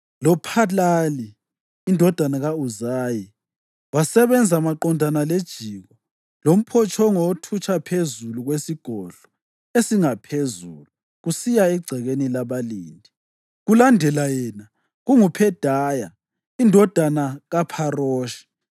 loPhalali indodana ka-Uzayi wasebenza maqondana lejiko lomphotshongo othutsha phezu kwesigodlo esingaphezulu kusiya egcekeni labalindi. Kulandela yena, kunguPhedaya indodana kaPharoshi